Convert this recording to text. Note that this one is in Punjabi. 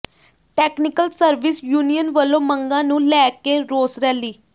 ਟੈਕਨੀਕਲ ਸਰਵਿਸ ਯੂਨੀਅਨ ਵੱਲੋਂ ਮੰਗਾਂ ਨੂੰ ਲੈ ਕੇ ਰੋਸ ਰੈਲੀ